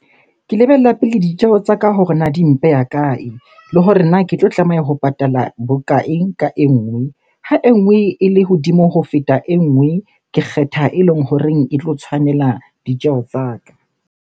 Ke lebella pele ditjeho tsa ka hore na di mpe ya kae? Le hore na ke tlo tlameha ho patala bokae ka e nngwe? Ha e nngwe ele hodimo ho feta e nngwe, ke kgetha eleng horeng e tlo tshwanela ditjeho tsa ka.